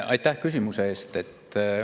Aitäh küsimuse eest!